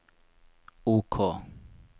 OK